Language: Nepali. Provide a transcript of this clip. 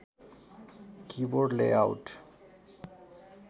keyboard layout